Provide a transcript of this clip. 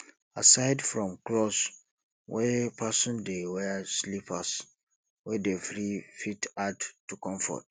aside from cloth wey person dey wear slippers wey dey free fit add to comfort